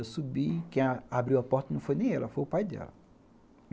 Eu subi, quem abriu a porta não foi nem ela, foi o pai dela.